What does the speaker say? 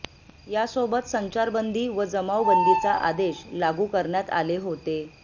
यासोबत संचारबंदी व जमावबंदीचा आदेश लागू करण्यात आले होते